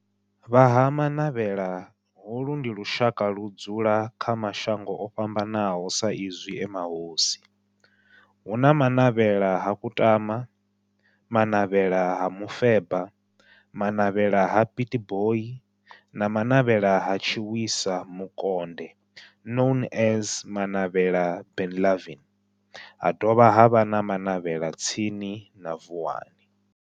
Vha Ha-Manavhela, holu ndi lushaka ludzula kha mashango ofhambanaho sa izwi e mahosi, hu na Manavhela ha Kutama, Manavhela ha Mufeba, Manavhela ha Pietboi na Manavhela ha Tshiwisa Mukonde known as Manavhela Benlavin, ha dovha havha na Manavhela tsini na Vuwani.